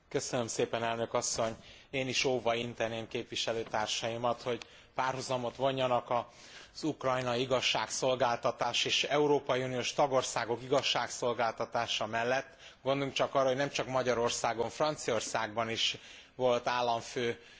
Én is óva inteném képviselőtársaimat, hogy párhuzamot vonjanak az ukrajnai igazságszolgáltatás és európai uniós tagországok igazságszolgáltatása között. Gondoljunk csak arra, hogy nemcsak Magyarországon, Franciaországban is volt államfő perben van.